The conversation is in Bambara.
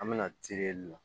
An bɛna terila